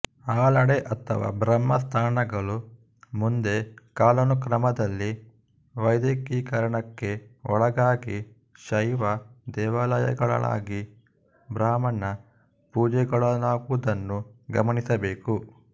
ಆಲಡೆ ಅಥವಾ ಬ್ರಹ್ಮ ಸ್ಥಾನಗಳು ಮುಂದೆ ಕಾಲಾನುಕ್ರಮದಲ್ಲಿ ವೈದಿಕೀಕರಣಕ್ಕೆ ಒಳಗಾಗಿ ಶೈವ ದೇವಾಲಯಗಳಾಗಿ ಬ್ರಾಹ್ಮಣ ಪೂಜೆಗೊಳಗಾದುದನ್ನು ಗಮನಿಸಬೇಕು